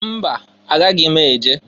Mba! Agaghị m eje.